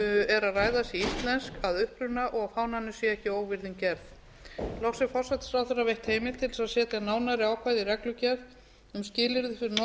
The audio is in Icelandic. er að ræða sé íslensk að uppruna og fánanum sé ekki óvirðing gerð loks er forsætisráðherra veitt heimild til þess að setja nánari ákvæði í reglugerð um skilyrði fyrir notkun